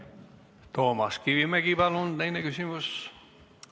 Toomas Kivimägi, palun teine küsimus!